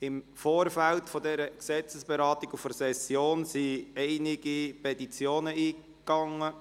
Im Vorfeld dieser Gesetzesberatung und der Session wurden einige Petitionen eingereicht.